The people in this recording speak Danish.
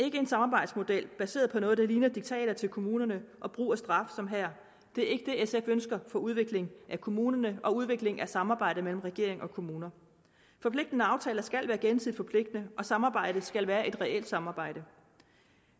ikke en samarbejdsmodel baseret på noget der ligner diktater til kommunerne og brug af straf som her det er ikke det sf ønsker for udvikling af kommunerne og udvikling af samarbejdet mellem regering og kommuner forpligtende aftaler skal være gensidigt forpligtende og samarbejdet skal være et reelt samarbejde